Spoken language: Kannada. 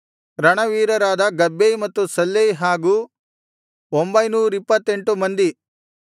ರಣವೀರರಾದ ಗಬ್ಬೈ ಮತ್ತು ಸಲ್ಲೈ ಹಾಗು ಒಂಭೈನೂರಿಪ್ಪತ್ತೆಂಟು ಮಂದಿ